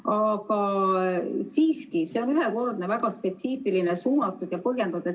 Aga siiski, see on ühekordne, väga spetsiifiline, suunatud ja põhjendatud.